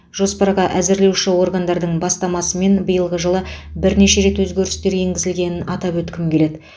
жоспарға әзірлеуші органдардың бастамасымен биылғы жылы бірнеше рет өзгерістер енгізілгенін атап өткім келеді